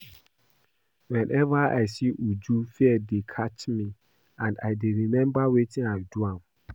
Whenever I see Uju fear dey catch me and I dey remember wetin I do am